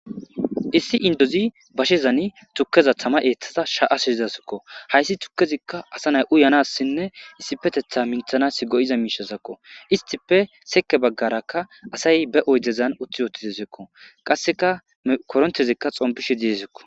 issi indozi bashezani tukkeza tama eeththada sha7asizidasakko hayssi tukkezikka asa nay uyanassinne issi petetha minthanas go7iza miishasakko istife seke baggarakka asay be oydezan utti ootitisekko qasseka korontezikka xompishe diesikko